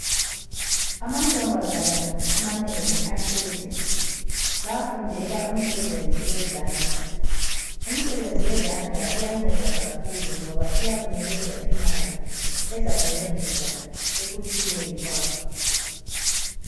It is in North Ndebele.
Amantombazana amanengi ahlezi bayafundela umsebenzi wezandla. Umsebenzi wezandla uyanceda kakhulu. Ngoba iyakunikeza imali ezakuncedisa ekuphileni kwakho.